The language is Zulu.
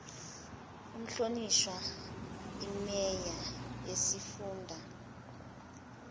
umhlonishwa imeya yesifunda